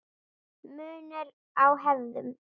Munur á hefðum